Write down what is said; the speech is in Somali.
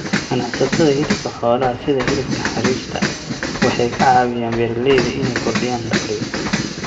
Ganacsatada hilibka xoolaha, sida hilibka xariirta, waxay ka caawiyaan beeralayda inay kordhiyaan dakhliga.